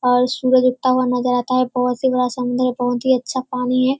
और सूरज उगता हुआ नजर आता है बहुत ही बड़ा समुन्द्र है बहुत ही अच्छा पानी है।